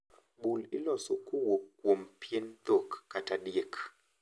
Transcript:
Bul iloso kowuok kuom pien dhok kata diek.